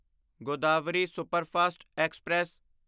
Godavari superfast express